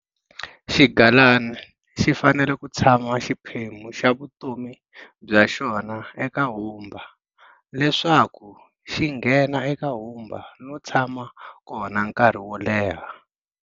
Xigalana xi fanele ku tshama xiphemu xa vutomi bya xona eka humba leswaku xi nghena eka humba no tshama kona nkarhi wo leha.